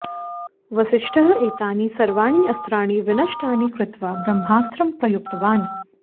वसिष्ठः एतानि सर्वाणि अस्त्राणि विनष्टानि कृत्वा ब्रह्मास्त्रं प्रयुक्तवान्